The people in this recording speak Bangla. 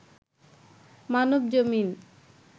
মানবজমিন